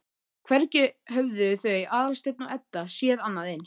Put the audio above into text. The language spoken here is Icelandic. Hvergi höfðu þau Aðalsteinn og Edda séð annað eins.